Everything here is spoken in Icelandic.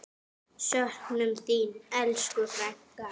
Söknum þín, elsku frænka.